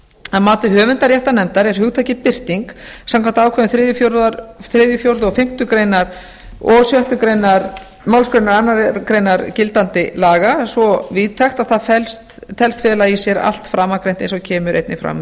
að mati höfundaréttarnefndar er hugtakið birting samkvæmt ákvörðun þriðji fjórði og fimmtu greinar og sjöttu málsgrein annarrar greinar gildandi laga svo víðtækt að það telst fela í sér allt framangreint eins og kemur einnig fram